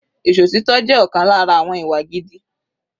Ìṣòtítọ́ jẹ́ ọ̀kan lára àwọn ìwà gidi.